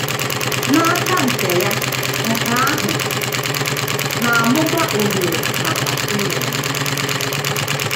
N’aka nke ya, nke ahụ na - amụba ohere maka ịlụ ọgụ. ”